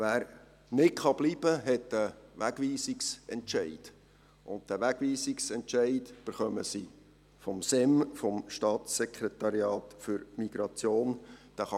Wer nicht bleiben kann, hat einen Wegweisungsentscheid, und diesen erhalten sie vom Staatssekretariat für Migration (SEM).